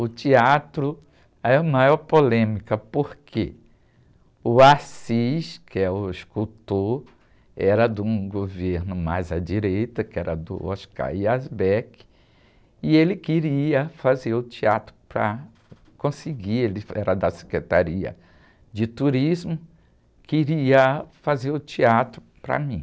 O teatro é a maior polêmica, porque o, que é o escultor, era de um governo mais à direita, que era do, e ele queria fazer o teatro para conseguir, ele era da Secretaria de Turismo, queria fazer o teatro para mim.